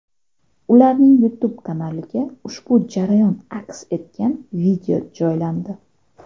Ularning YouTube kanaliga ushbu jarayon aks etgan video joylandi.